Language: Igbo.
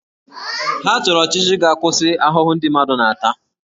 Ha chọrọ ọchịchị ga-akwụsị ahụhụ ndị mmadụ na-ata